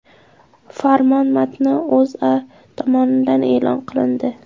Farmon matni O‘zA tomonidan e’lon qilindi .